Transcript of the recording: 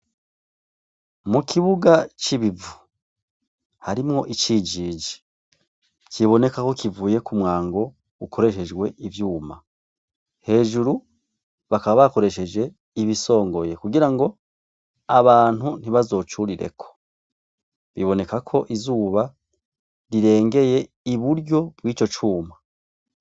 Mu kibuga c'ibivu, harimwo icijiji ,kiboneka ko kivuye ku mwango ukoreshejwe ivyuma, hejuru bakaba bakoresheje ibisongoye kugira ngo abantu ntibazocurireko, biboneka ko izuba rirengeye iburyo bw'ico cuma.